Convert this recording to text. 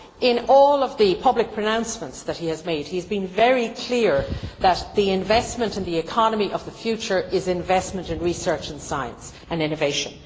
In all of the public pronouncements that he has made, he has been very clear that the investment and the economy of the future is investment in research, science and innovation.